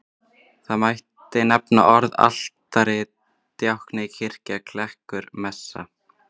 Þar mætti nefna orðin altari, djákni, kirkja, klerkur, messa.